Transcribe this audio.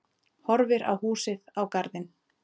Horfir á húsið, á garðinn.